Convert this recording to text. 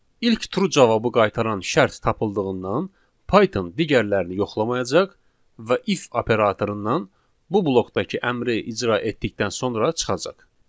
İlk true cavabı qaytaran şərt tapıldığından, Python digərlərini yoxlamayacaq və if operatorundan bu blokdakı əmri icra etdikdən sonra çıxacaq.